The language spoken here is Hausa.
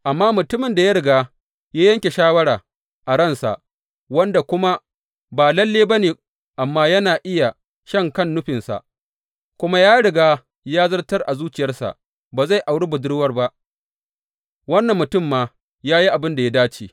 Amma mutumin da ya riga ya yanke shawara a ransa, wanda kuma ba lalle ba ne amma yana iya shan kan nufinsa, kuma ya riga ya zartar a zuciyarsa ba zai auri budurwar ba, wannan mutum ma ya yi abin da ya dace.